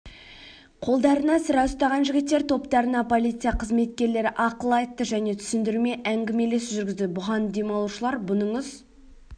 қолдарында сыра ұстаған жігіттер топтарына полиция қызметкерлері ақыл айтты және түсіндірме әңгімелесу жүргізді бұған демалушылар бұныңыз